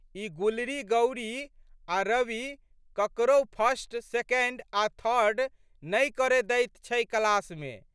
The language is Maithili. ई गुलरीगौरी आ' रवि ककरहु फर्स्ट, सेकेन्ड आ' थर्ड नहि करए दैत छै क्लासमे।